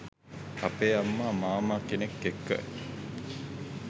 අපේ අම්ම මාමා කෙනෙක් එක්ක